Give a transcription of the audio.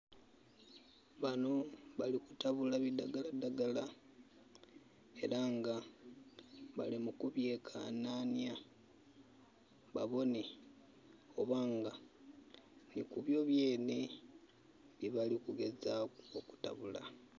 Bano bali kutabula bidhagala dhagala era nga bali mu ku byekanhanya babonhe obanga nhikubyo bye nhe byebali kugezaku okutabula.